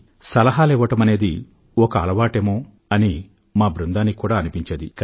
సలహాలు ఇవ్వడమనేది చాలా మందికి ఒక అలవాటేమో అని మా బృందానికి కూడా అనిపించేది